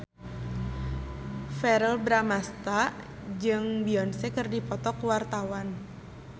Verrell Bramastra jeung Beyonce keur dipoto ku wartawan